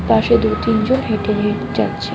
পাশে দু'তিনজন হেঁটে হেঁটে যাচ্ছে।